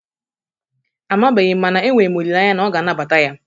Amabeghi m mana enwere m olele anya na ọ ga anabata ya.